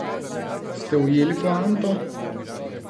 Ste ujeli poanto?